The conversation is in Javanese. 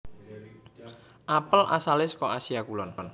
Apel asalé saka Asia Kulon